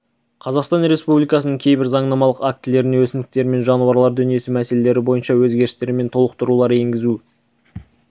қазақстан республикасының кейбір заңнамалық актілеріне өсімдіктер мен жануарлар дүниесі мәселелері бойынша өзгерістер мен толықтырулар енгізу